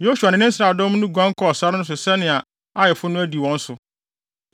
Yosua ne ne Israel nsraadɔm no guan kɔɔ sare no so yɛɛ sɛnea Aifo no adi wɔn so,